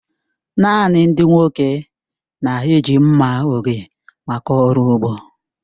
Naanị ndị nwoke na-eji mma oge maka ọrụ ugbo.